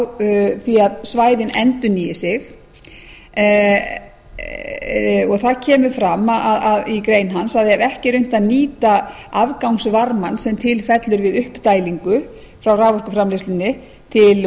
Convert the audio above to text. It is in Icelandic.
á því að svæðin endurnýi sig þar kemur fram i grein hans að ef ekki er reynt að nýta afgangsvarmann sem til fellur við uppdælingu frá raforkuframleiðslunni til